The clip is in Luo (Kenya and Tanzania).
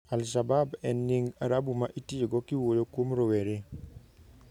Al-Shabab en nying Arabu ma itiyogo kiwuoyo kuom rowere.